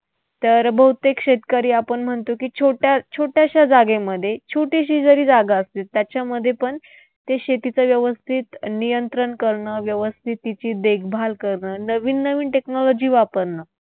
तर बहुतेक शेतकरी आपण म्हणतो की, छोट्या छोट्याशा जागेमध्ये, छोटीशी जरी जागा असली त्याच्यामध्येपण ते शेतीचं व्यवस्थित नियंत्रण करणं, व्यवस्थित तिची देखभाल करणं, नवीन नवीन technology वापरणं